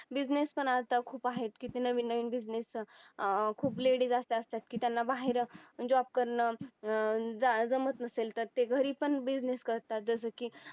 business पण आता खूप आहेत किती नवीन नवीन business अं खूप ladies अशा असतात की त्यांना बाहेर job करणं अं जमत नसेल तर ते घरी पण business करतात जसं की